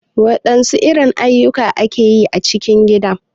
Wadansu irin ayukan ake a cikin gida?.